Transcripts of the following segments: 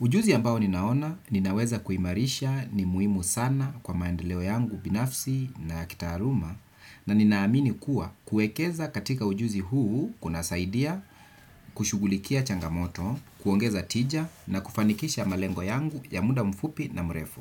Ujuzi ambao ninaona ninaweza kuimarisha ni muhimu sana kwa maendeleo yangu binafsi na ya kitaaruma na ninaamini kuwa kuekeza katika ujuzi huu kunasaidia, kushughulikia changamoto, kuongeza tija na kufanikisha malengo yangu ya muda mfupi na mrefu.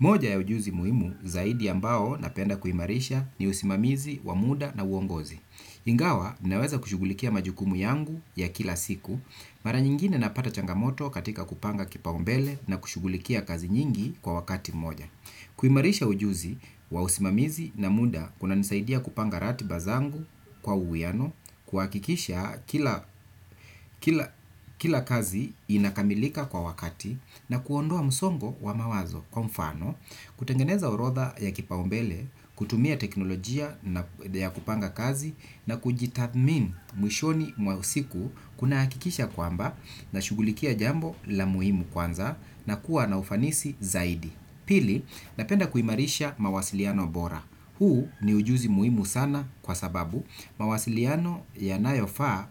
Moja ya ujuzi muhimu zaidi ambao napenda kuimarisha ni usimamizi, wa muda na uongozi. Ingawa, naweza kushughulikia majukumu yangu ya kila siku, mara nyingine napata changamoto katika kupanga kipaumbele na kushughulikia kazi nyingi kwa wakati moja. Kuimarisha ujuzi wa usimamizi na muda kunanisaidia kupanga ratiba zangu kwa uwiano, kuhakikisha kila kazi inakamilika kwa wakati na kuondoa msongo wa mawazo kwa mfano kutengeneza orodha ya kipaumbele kutumia teknolojia ya kupanga kazi na kujitathmini mwishoni mwa siku kunahakikisha kwamba nashughulikia jambo la muhimu kwanza na kuwa na ufanisi zaidi. Pili, napenda kuimarisha mawasiliano bora. Huu ni ujuzi muhimu sana kwa sababu mawasiliano yanayofaa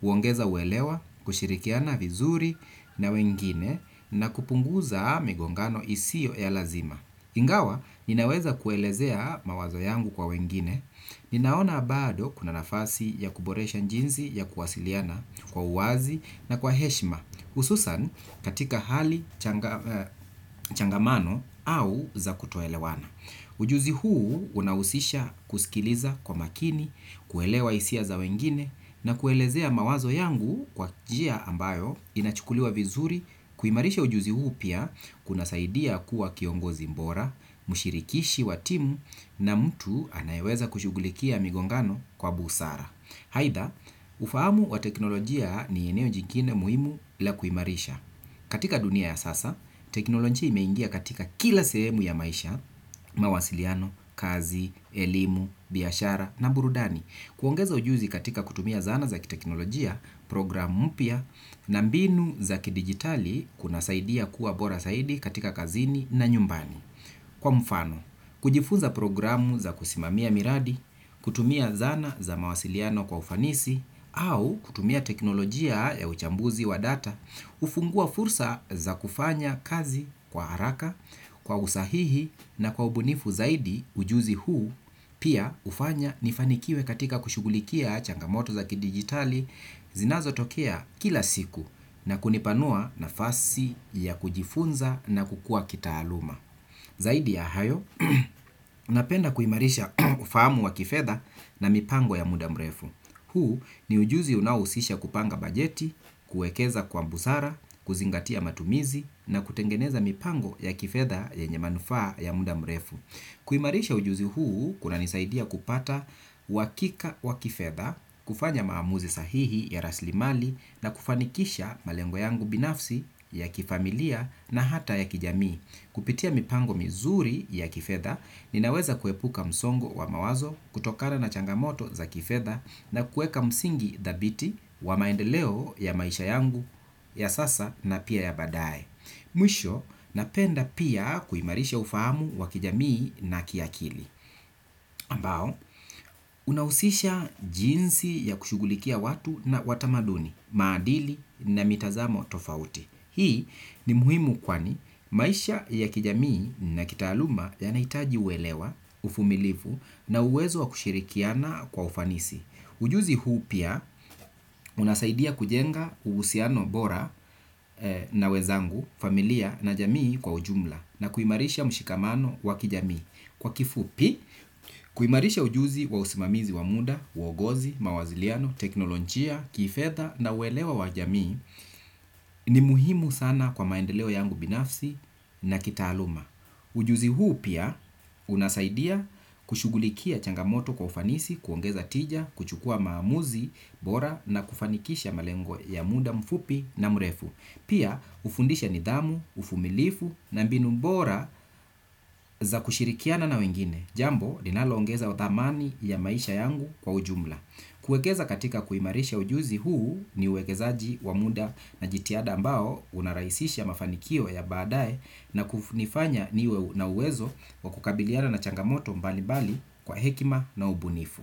huongeza uelewa, kushirikiana vizuri na wengine na kupunguza migongano isiyo ya lazima. Ingawa, ninaweza kuelezea mawazo yangu kwa wengine ninaona bado kuna nafasi ya kuboresha njinzi ya kuwasiliana kwa uwazi na kwa heshima hususan katika hali changamano au za kutoelewana. Ujuzi huu unahusisha kusikiliza kwa makini, kuelewa hisia za wengine na kuelezea mawazo yangu kwa njia ambayo inachukuliwa vizuri kuimarisha ujuzi huu pia kunasaidia kuwa kiongozi mbora, mshirikishi wa timu na mtu anayeweza kushughulikia migongano kwa busara. Aidha, ufahamu wa teknolojia ni eneo jingine muhimu la kuimarisha. Katika dunia ya sasa, teknolojia imeingia katika kila sehemu ya maisha, mawasiliano, kazi, elimu, biashara na burudani. Kuongeza ujuzi katika kutumia zana za kiteknolojia, program mpya na mbinu za kidigitali kunasaidia kuwa bora saidi katika kazini na nyumbani. Kwa mfano, kujifunza programu za kusimamia miradi, kutumia zana za mawasiliano kwa ufanisi, au kutumia teknolojia ya uchambuzi wa data, hufungua fursa za kufanya kazi kwa haraka, kwa usahihi na kwa ubunifu zaidi ujuzi huu, pia hufanya nifanikiwe katika kushughulikia changamoto za kidigitali zinazotokea kila siku na kunipanua nafasi ya kujifunza na kukua kitaaluma. Zaidi ya hayo, napenda kuimarisha ufahamu wa kifedha na mipango ya muda mrefu. Huu ni ujuzi unaohusisha kupanga bajeti, kuekeza kwa busara, kuzingatia matumizi na kutengeneza mipango ya kifedha yenye manufaa ya muda mrefu. Kuimarisha ujuzi huu kunanisaidia kupata uhakika wa kifedha, kufanya maamuzi sahihi ya raslimali na kufanikisha malengo yangu binafsi ya kifamilia na hata ya kijamii. Kupitia mipango mizuri ya kifedha, ninaweza kuepuka msongo wa mawazo, kutokana na changamoto za kifedha na kueka msingi thabiti wa maendeleo ya maisha yangu ya sasa na pia ya baadaye. Mwisho, napenda pia kuimarisha ufahamu wa kijamii na kiakili. Ambao, unahusisha jinsi ya kushughulikia watu na watamaduni, maadili na mitazamo tofauti. Hii ni muhimu kwani maisha ya kijamii na kitaaluma yanahitaji uelewa, ufumilivu na uwezo wa kushirikiana kwa ufanisi. Ujuzi huu pia unasaidia kujenga uhusiano bora na wezangu, familia na jamii kwa ujumla na kuimarisha mshikamano wa kijamii. Kwa kifupi, kuimarisha ujuzi wa usimamizi wa muda, uogozi, mawasiliano, teknolojia, kifedha na uelewa wa jamii ni muhimu sana kwa maendeleo yangu binafsi na kitaaluma. Ujuzi huu pia unasaidia kushughulikia changamoto kwa ufanisi, kuongeza tija, kuchukua maamuzi, bora na kufanikisha malengo ya muda mfupi na mrefu. Pia hufundisha nidhamu, ufumilifu na mbinu bora za kushirikiana na wengine. Jambo, linaloongeza thamani ya maisha yangu kwa ujumla. Kuekeza katika kuimarisha ujuzi huu ni uwekezaji wa muda na jitihada ambao unarahisisha mafanikio ya baadaye na kunifanya niwe na uwezo wa kukabiliana na changamoto mbalimbali kwa hekima na ubunifu.